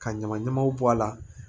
Ka ɲama ɲamaw bɔ a la